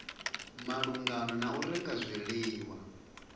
malugana na u renga zwiḽiwa